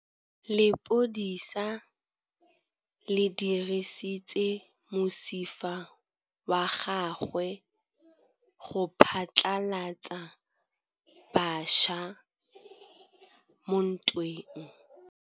Lepodisa le dirisitse mosifa wa gagwe go phatlalatsa batšha mo ntweng.